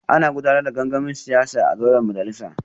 Ana gudanar da gangamin siyasa a zauren majalisar